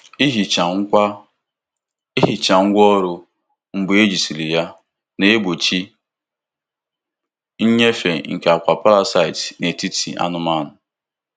Ihicha ngwá Ihicha ngwá ọrụ mgbe ejisiri ya na-egbochi nnyefe nke akwa parasite n'etiti anụmanụ.